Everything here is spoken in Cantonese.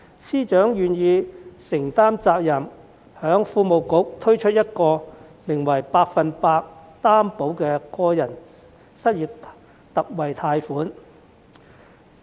司長願意承擔責任，經財經事務及庫務局為失業人士推出百分百擔保個人特惠貸款計劃。